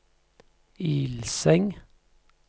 Ilseng